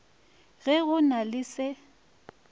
ge go na le se